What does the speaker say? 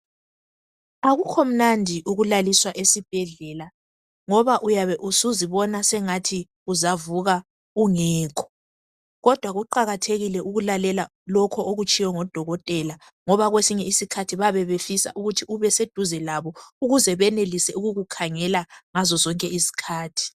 Akukho mnandi ukulaliswa esibhedlela ngoba uyabe usuzibona sengathi uzavuka ungekho kodwa kuqakathekile ukulalela lokho okutshiwo ngodokotela ngoba kwesinye isikhathi bayabe befisa ukuthi ubeseduze labo ukuze benelise ukukukhangela ngazozonke izikhathi.